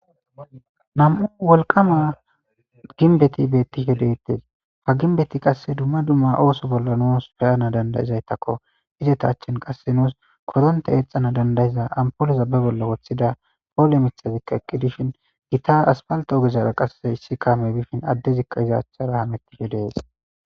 nam7u wolqama ginbeti bettihedettes ha ginbeti qasse dumma dumma ooso bolla nuus feyana dandayizaytakko izeta achchin qasse nuus koronte eexana dandayiza ampoloza be bolla woththida poole mixazikka eqqi dishin gita aspalto ogezzara qasse issi kaame bifin addezikka izaachara hamettihe dees